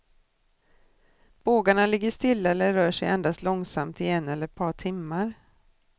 Bågarna ligger stilla eller rör sig endast långsamt i en eller ett par timmar.